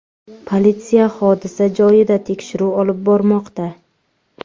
Politsiya hodisa joyida tekshiruv olib bormoqda.